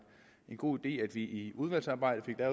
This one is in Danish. god idé at vi i udvalgsarbejdet